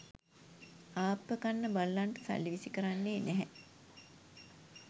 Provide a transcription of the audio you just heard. ආප්ප කන්න බල්ලන්ට සල්ලි විසි කරන්නේ නැහැ